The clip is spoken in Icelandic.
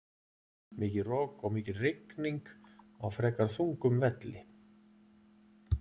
Mikið rok og mikil rigning á frekar þungum velli.